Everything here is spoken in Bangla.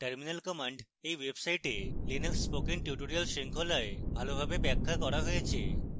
terminal commands এই website linux spoken tutorial শৃঙ্খলায় ভালোভাবে ব্যাখ্যা করা হয়েছে